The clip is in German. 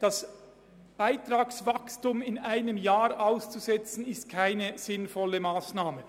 Das Beitragswachstum bei den drei Hochschulen ein Jahr lang auszusetzen, ist keine sinnvolle Massnahme.